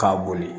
K'a boli